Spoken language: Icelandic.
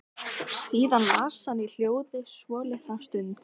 Síðan las hann í hljóði svolitla stund.